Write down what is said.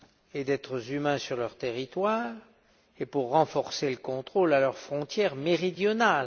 et d'êtres humains sur leur territoire et pour renforcer les contrôles à leur frontière méridionale.